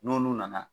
N'olu nana